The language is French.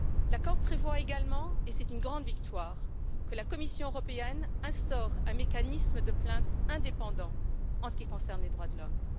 L'accord prévoit également, et c'est une grande victoire, que la Commission européenne instaure un mécanisme de plaintes indépendant en ce qui concerne les droits de l'homme.